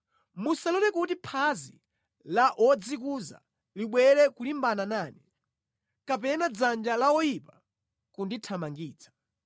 Musalole kuti phazi la wodzikuza libwere kulimbana nane, kapena dzanja la oyipa kundithamangitsa.